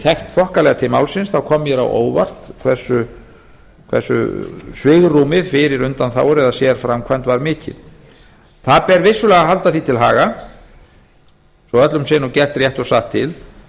þekkt þokkalega til málsins þá kom mér á óvart hversu svigrúmið fyrir undanþágur eða sérframkvæmd var mikið það ber vissulega að halda því til haga svo öllum sé nú gert rétt og satt til